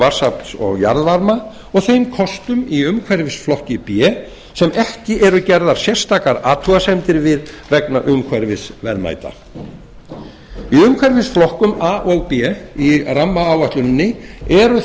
vatnsafls og jarðvarma og þeim kostum í umhverfisflokki b sem ekki eru gerðar sérstakar athugasemdir við vegna umhverfisverðmæta í umhverfisflokkum a og b í rammaáætluninni eru